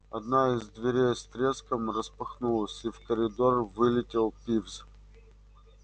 одна из дверей с треском распахнулась и в коридор вылетел пивз